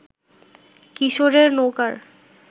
কিশোরের নৌকার